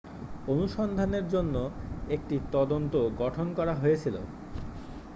অনুসন্ধানের জন্য একটি তদন্ত গঠন করা হয়েছিল